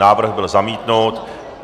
Návrh byl zamítnut.